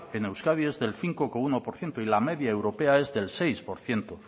en euskadi es del cinco coma uno por ciento y la media europea es del seis por ciento